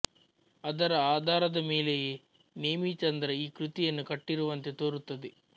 ಅದರ ಅಧಾರದ ಮೇಲೆಯೇ ನೇಮಿಚಂದ್ರ ಈ ಕೃತಿಯನ್ನು ಕಟ್ಟಿರುವಂತೆ ತೋರುತ್ತದೆ